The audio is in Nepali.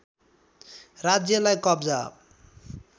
राज्यालाई कब्जा